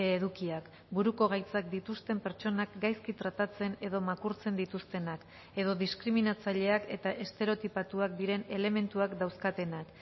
edukiak buruko gaitzak dituzten pertsonak gaizki tratatzen edo makurtzen dituztenak edo diskriminatzaileak eta estereotipatuak diren elementuak dauzkatenak